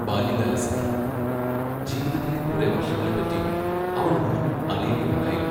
ബാല്യകാലസഖി ജീവിത്തിലെ കുറെ വർഷങ്ങളെപ്പറ്റി അവൾ ഒന്നും അറിയുകയുണ്ടായില്ല.